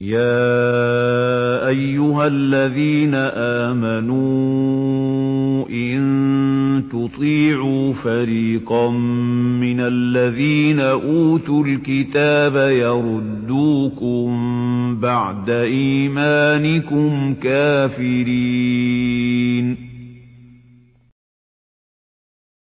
يَا أَيُّهَا الَّذِينَ آمَنُوا إِن تُطِيعُوا فَرِيقًا مِّنَ الَّذِينَ أُوتُوا الْكِتَابَ يَرُدُّوكُم بَعْدَ إِيمَانِكُمْ كَافِرِينَ